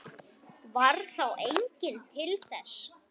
Varð þá enginn til þess.